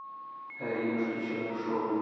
аринушке чернышовой